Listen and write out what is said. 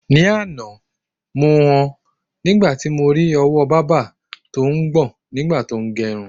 Ni àná, mo ho̩ nígbà tí mo ri o̩wó̩ bábà tó ń gbò̩n nígbà tó ń ge̩̣run.